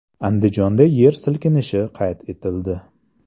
Andijonda yer silkinishi qayd etildi.